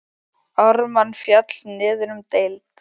Ármann féll niður um deild.